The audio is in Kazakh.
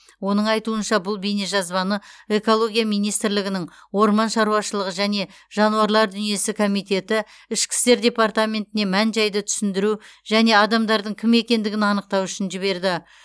оның айтуынша бұл бейнежазбаны экология министрлігінің орман шаруашылығы және жануарлар дүниесі комитеті ішкі істер департаментіне мән жайды түсіндіру және адамдардың кім екендігін анықтау үшін жіберді